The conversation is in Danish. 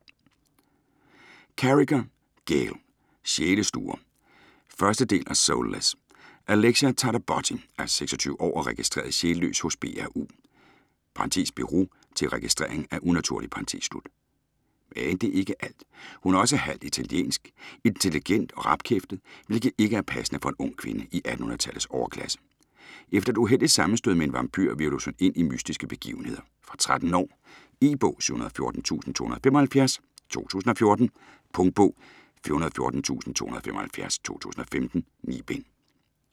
Carriger, Gail: Sjælesluger 1. del af Soulless. Alexia Tarabotti er 26 år og registreret sjælløs hos BRU (Bureau til Registrering af Unaturlige). Men det er ikke alt, hun er også halvt italiensk, intelligent og rapkæftet, hvilket ikke er passende for en ung kvinde i 1800-tallets overklasse. Efter et uheldigt sammenstød med en vampyr, hvirvles hun ind i mystiske begivenheder. Fra 13 år. E-bog 714275 2014. Punktbog 414275 2015. 9 bind.